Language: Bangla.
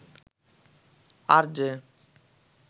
আরজে